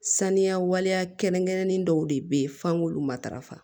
Saniya waleya kɛrɛnkɛrɛnnen dɔw de bɛ ye f'an k'olu matarafa